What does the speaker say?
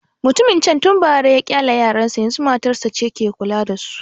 Mutumin can tun bara ya ƙyale yaran sa, yanzu matarsa ce ke kula da su